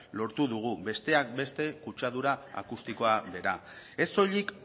lortu dugu besteak beste kutsadura akustikoa bera ez soilik